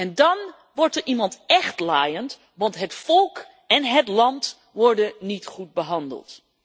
En dan wordt er iemand echt laaiend, want het volk en het land worden niet goed behandeld.